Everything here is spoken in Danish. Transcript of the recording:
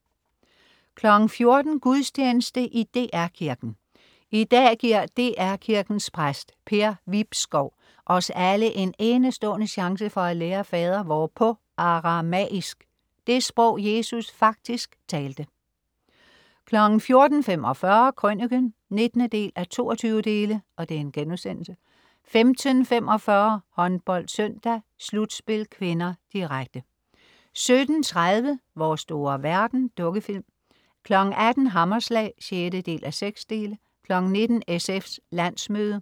14.00 Gudstjeneste i DR Kirken. I dag giver DR Kirkens præst, Per Vibskov, os alle en enestående chance for at lære fadervor på aramaisk, det sprog, Jesus faktisk talte 14.45 Krøniken 19:22* 15.45 HåndboldSøndag: Slutspil (k), direkte 17.30 Vores store verden. Dukkefilm 18.00 Hammerslag 6:6 19.00 SF's landsmøde